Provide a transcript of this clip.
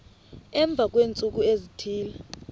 emva kweentsuku ezithile